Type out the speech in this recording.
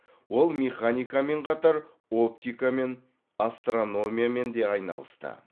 ол механикамен қатар оптикамен астрономиямен де айналысты